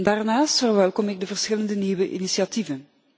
Daarnaast verwelkom ik de verschillende nieuwe initiatieven.